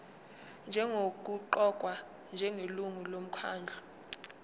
nokuqokwa njengelungu lomkhandlu